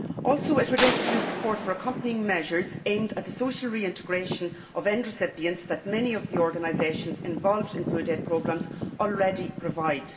It would also introduce support for accompanying measures aimed at the social reintegration of end recipients that many of the organisations involved in food aid programmes already provide.